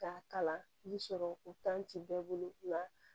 K'a kalan ni sɔrɔ o tan tɛ bɛɛ bolo la